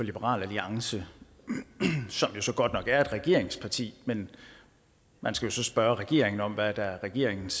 liberal alliance som jo så godt nok er et regeringsparti men man skal så spørge regeringen om hvad der er regeringens